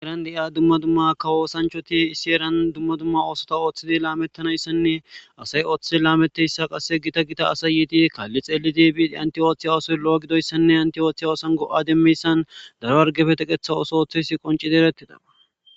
Egran de'a dumma dumma kawoosanchoti issi eran dumma dumma oosota ooththidi laamettanayssanne asay ooththi laameteyssa qasse gita gita asay yiiti kaalli xeelidi antiyooththiya oosoy lo'o gidoyssanne antiyoothiya oosan go'ade miyssan daro wargefete qetha ooso ooththeysi qoncidi erettida.